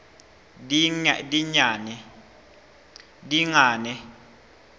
dingane